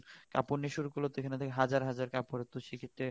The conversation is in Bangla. কাপড় নিয়ে শুরু করলে তো হাজার হাজার কাপড় তো সে ক্ষেত্রে